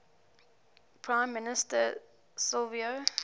prime minister silvio